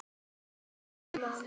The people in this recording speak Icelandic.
Já, það man ég